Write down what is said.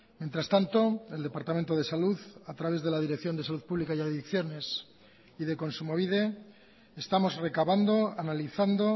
mientras tanto el departamento de salud a través de la dirección de salud pública y adicciones y de kontsumobide estamos recabando analizando